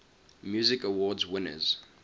music awards winners